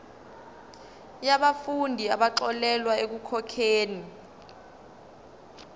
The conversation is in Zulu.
yabafundi abaxolelwa ekukhokheni